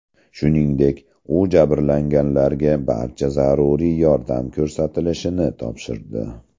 Shuningdek, u jabrlanganlarga barcha zaruriy yordam ko‘rsatilishini topshirdi.